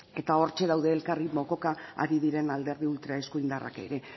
eta hortxe daude elkarri mokoka ari diren alderdi ultraeskuindarrak ere